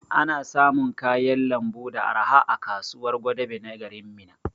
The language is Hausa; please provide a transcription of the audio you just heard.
Ana samun kayan lambu da arha a kasuwar Gwadabe na garin Minna